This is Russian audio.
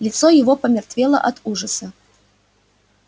лицо его помертвело от ужаса